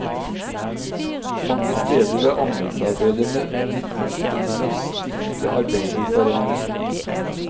Mange steder var anleggsarbeiderne de første til å stifte arbeiderforeninger.